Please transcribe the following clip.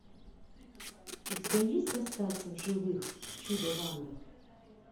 у тебя есть остаться в живых чудо в андах